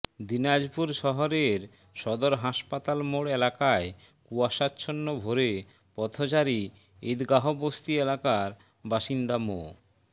দিনাজপুর শহরের সদর হাসপাতাল মোড় এলাকায় কুয়াশাচ্ছন্ন ভোরে পথচারী ঈদগাহবস্তি এলাকার বাসিন্দা মো